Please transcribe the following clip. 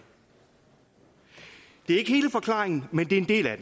det er ikke hele forklaringen men det er en del af